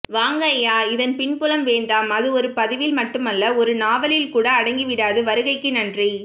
வாங்க ஐயா இதன் பின்புலம் வேண்டாம் அது ஒரு பதிவில் மட்டுமல்ல ஒரு நாவலில்கூட அடங்கி விடாது வருகைக்கு நன்றி